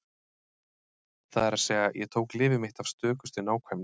Það er að segja: Ég tók lyfið mitt af stökustu nákvæmni.